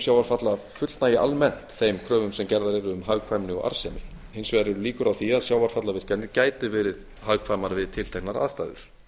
sjávarfalla fullnægi almennt þeim kröfum sem gerðar eru um hagkvæmni og arðsemi hins vegar eru líkur á því að sjávarfallavirkjanir gætu verið hagkvæmar við tilteknar aðstæður